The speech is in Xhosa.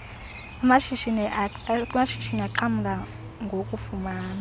amshishini axhamla gokufumana